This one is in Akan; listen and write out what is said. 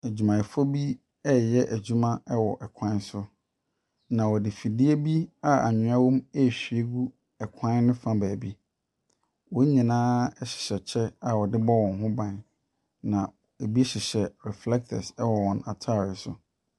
Adwumayɛfo bi ɛreyɛ adwima wɔ kwan so. Na wɔde fidie bi anwea wɔm ɛrehwie gu kwan ne fa beebi. Wɔn nyinaa hyɛ kyɛ a wɔde bɔ wɔn ho ban. Na ɛbi hyehyɛ reflectors wɔ wɔn ataade so.